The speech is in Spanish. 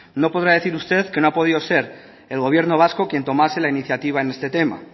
no podrá usted decir que no ha podido ser el gobierno vasco quien tomase la iniciativa en este tema